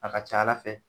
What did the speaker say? A ka ca ala fɛ